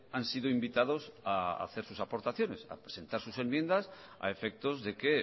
han sido invitados a hacer sus aportaciones a presentar sus enmiendas a efectos de que